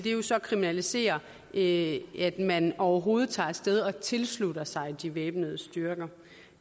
så kriminalisere det at man overhovedet tager af sted og tilslutter sig de væbnede styrker